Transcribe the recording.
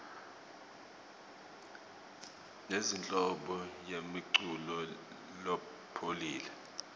sinenhlobo yemiculo lopholile